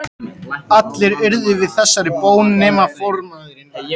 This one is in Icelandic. Allir urðu við þessari bón nema formaðurinn.